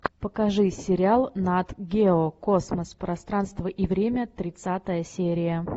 покажи сериал нат гео космос пространство и время тридцатая серия